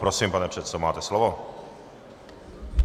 Prosím, pane předsedo, máte slovo.